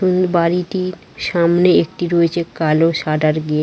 কোন বাড়িটির সামনে একটি রয়েছে কালো সাদার গেট ।